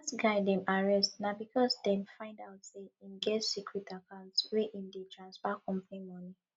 dat guy dem arrest na because dem find out say im get secret account where im dey transfer company money